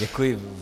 Děkuji.